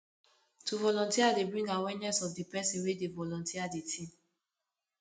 to volunteer de bring awearness of the person wey do volunteer di thing